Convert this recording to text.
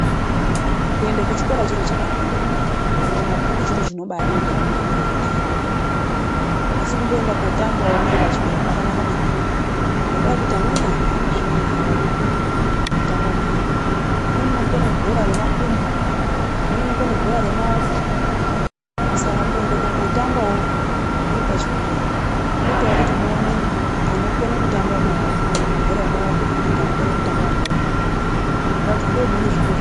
Kuenda kuchikora chiro chakanaka. Kuverenga mabhuku chiro chinodiwa memuntu wega wega, asi kumboendawo kundotamba muri pachikora kwakanaka maningi ngendaa yekuti amweni antu ane zvipo zvavo mukutamba mwo, umweni anokone bhora remakumbo umweni anokona bhora remaoko. Saka kuenda kundotambawo muri pachikora kunoita kuti muonewo anokona kutamba mabhora remaoko kana kuti anokona kutamba remakumbo ndozvipo zvavo .